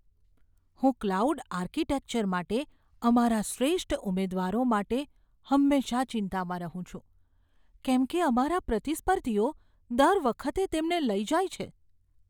હું cloud architecture માટે અમારા શ્રેષ્ઠ ઉમેદવારો માટે હંમેશાં ચિંતામાં રહું છું. કેમ કે, અમારા પ્રતિસ્પર્ધીઓ દર વખતે તેમને લઈ જાય છે.